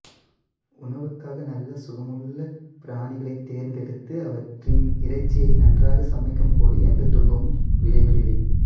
உணவுக்காக நல்ல சுகமுள்ள பிராணிகளைத் தேர்ந்தெடுத்து அவற்றின் இறைச்சியை நன்றாகச் சமைக்கும்போது இந்தத் துன்பம் விளைவதில்லை